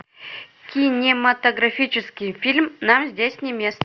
кинематографический фильм нам здесь не место